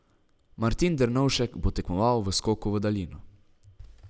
Martin Dernovšek bo tekmoval v skoku v daljino.